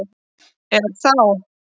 Er þá